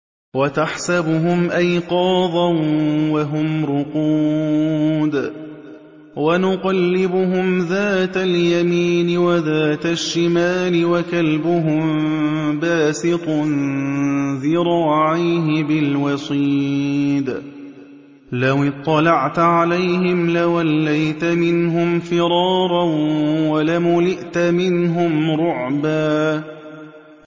وَتَحْسَبُهُمْ أَيْقَاظًا وَهُمْ رُقُودٌ ۚ وَنُقَلِّبُهُمْ ذَاتَ الْيَمِينِ وَذَاتَ الشِّمَالِ ۖ وَكَلْبُهُم بَاسِطٌ ذِرَاعَيْهِ بِالْوَصِيدِ ۚ لَوِ اطَّلَعْتَ عَلَيْهِمْ لَوَلَّيْتَ مِنْهُمْ فِرَارًا وَلَمُلِئْتَ مِنْهُمْ رُعْبًا